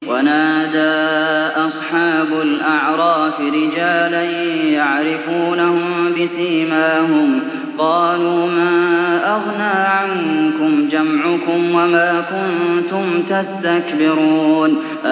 وَنَادَىٰ أَصْحَابُ الْأَعْرَافِ رِجَالًا يَعْرِفُونَهُم بِسِيمَاهُمْ قَالُوا مَا أَغْنَىٰ عَنكُمْ جَمْعُكُمْ وَمَا كُنتُمْ تَسْتَكْبِرُونَ